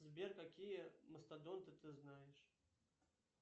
сбер какие мастодонты ты знаешь